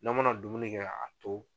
N'a mana dumuni kɛ ka a to